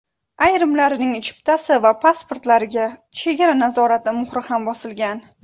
Ayrimlarining chiptasi va pasportlariga chegara nazorati muhri ham bosilgan.